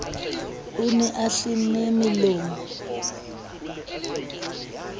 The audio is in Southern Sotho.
o ne a hlenne melomo